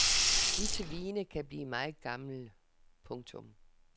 Disse vine kan blive meget gamle. punktum